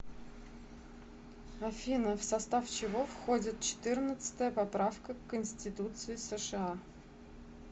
афина в состав чего входит четырнадцатая поправка к конституции сша